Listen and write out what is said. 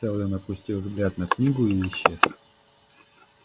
сэлдон опустил взгляд на книгу и исчез